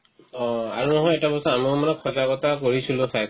অ, আৰু মই এটা কথা কথা পঢ়িছিলো খাদ্যৰ